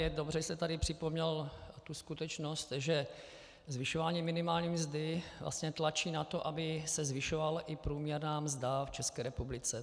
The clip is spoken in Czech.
Je dobře, že jste tady připomněl tu skutečnost, že zvyšování minimální mzdy vlastně tlačí na to, aby se zvyšovala i průměrná mzda v České republice.